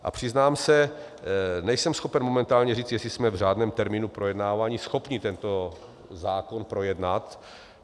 A přiznám se, nejsem schopen momentálně říct, jestli jsme v řádném termínu projednáváni schopni tento zákon projednat.